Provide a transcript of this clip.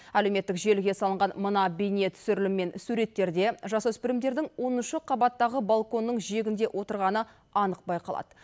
әлеуметтік желіге салынған мына бейнетүсірілім мен суреттерде жасөспірімдердің оныншы қабаттағы балконның жиегінде отырғаны анық байқалады